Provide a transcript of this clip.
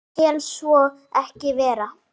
Ég tel svo ekki vera.